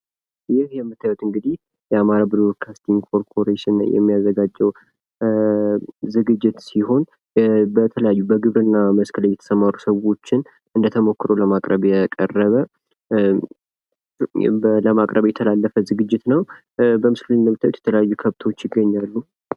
ይህ የምታዩት እንግዲህ የአማራ ብሮድካስቲንግ ኮርፖሬሽን የሚያዘጋጀው ዝግጅት ሲሆን በተለያዩ በግብርና መስክ ላይ የተሰማሩ ሰዎችን እንደ ተሞክሮ ለማቅረብ የቀረበ ለማቅረብ የተላለፈ ዝግጅት ነው ።በምስሉ ላይም እንደምታዩት የተለያዩ ከብቶች ይገኛሉ።